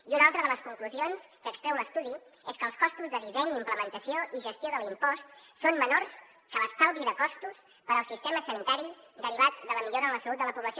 i una altra de les conclusions que extreu l’estudi és que els costos de disseny i implementació i gestió de l’impost són menors que l’estalvi de costos per al sistema sanitari derivat de la millora en la salut de la població